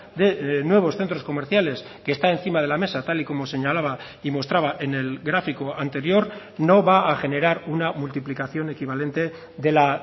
de nuevos centros comerciales que está encima de la mesa tal y como señalaba y mostraba en el gráfico anterior no va a generar una multiplicación equivalente de la